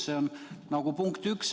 See on punkt üks.